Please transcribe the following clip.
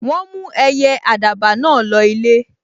Wọ́n mú ẹyẹ àdàbà náà lọ ilé